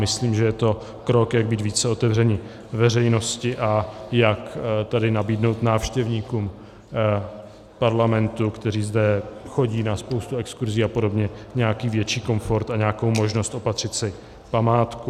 Myslím, že je to krok, jak být více otevřený veřejnosti a jak tedy nabídnout návštěvníkům Parlamentu, kteří sem chodí na spoustu exkurzí a podobně, nějaký větší komfort a nějakou možnost opatřit si památku.